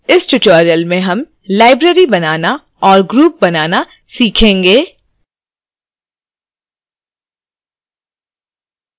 इस tutorial में हम लाइब्रेरी बनाना और ग्रुप बनाना सीखेंगे